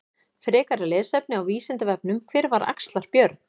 Frekara lesefni á Vísindavefnum: Hver var Axlar-Björn?